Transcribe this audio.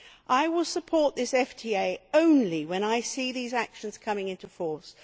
I will support this FTA only when I see those actions coming into force.